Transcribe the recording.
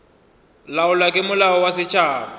laolwa ke molao wa setšhaba